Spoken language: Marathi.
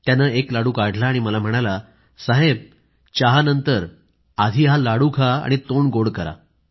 त्यानं एक लाडू काढला आणि मला म्हणाला साहेब चहा घेतल्यानंतर हा लाडू खा आणि तोंड गोड करा